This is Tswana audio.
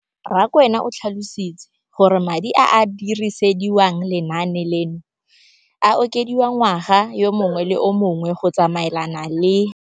Rakwena o tlhalositse gore madi a a dirisediwang lenaane leno a okediwa ngwaga yo mongwe le yo mongwe go tsamaelana le